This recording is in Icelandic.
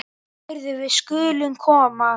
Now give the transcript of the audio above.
Heyrðu, við skulum koma.